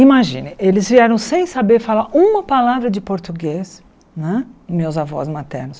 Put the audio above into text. Imagina, eles vieram sem saber falar uma palavra de português não é, meus avós maternos.